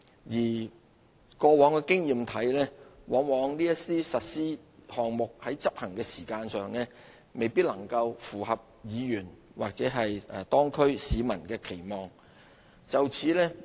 根據過往的經驗，這些項目在實施的時間上往往未能符合議員或當區市民的期望。